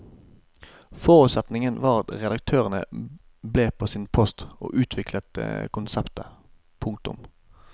Forutsetningen var at redaktørene ble på sin post og utviklet konseptet. punktum